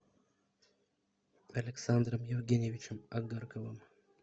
александром евгеньевичем огарковым